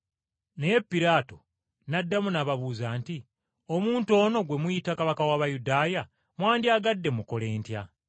Naye Piraato n’addamu n’ababuuza nti, “Omuntu ono gwe muyita kabaka w’Abayudaaya mwandyagadde mmukole ntya?”